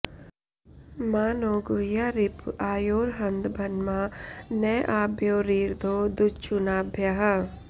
मा नो॒ गुह्या॒ रिप॑ आ॒योरह॑न्दभ॒न्मा न॑ आ॒भ्यो री॑रधो दु॒च्छुना॑भ्यः